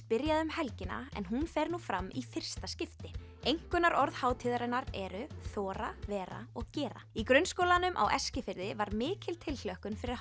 byrjaði um helgina en hún fer nú fram í fyrsta skipti einkunnarorðin hátíðarinnar eru þora vera og gera í grunnskólanum á Eskifirði var mikil tilhlökkun fyrir